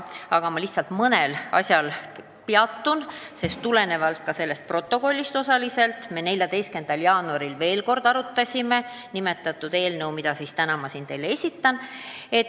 Peatun lihtsalt mõnel asjal, sest tulenevalt ka sellest koosolekust me 14. jaanuaril veel kord arutasime eelnõu 775.